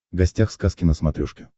гостях сказки на смотрешке